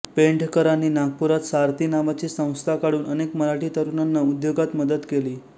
पेंढरकरांनी नागपुरात सारथी नावाची संस्था काढून अनेक मराठी तरुणांना उद्योगात मदत केली